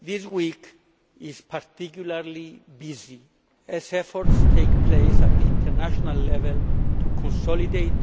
This week is particularly busy as efforts take place at international level to consolidate,